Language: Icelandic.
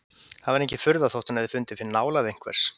Það var engin furða þótt hún hefði fundið fyrir nálægð einhvers!